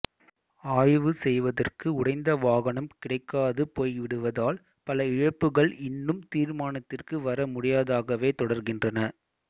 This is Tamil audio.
ஆய்வு செய்வதற்கு உடைந்த வாகனம் கிடைக்காது போய்விடுவதால் பல இழப்புகள் இன்னும் தீர்மானத்திற்கு வர முடியாததாகவே தொடர்கின்றன